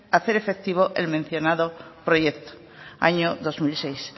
hacer efectivo el mencionado proyecto año dos mil seis